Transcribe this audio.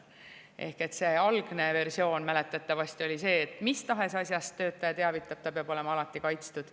Ehk see algne versioon mäletatavasti oli see, et mis tahes asjast töötaja teavitab, ta peab olema alati kaitstud.